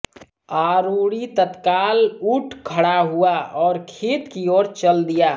आरुणि तत्काल उठ खड़ा हुआ और खेत की ओर चल दिया